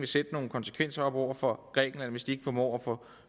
sætte nogle konsekvenser op over for grækenland hvis de ikke formår at få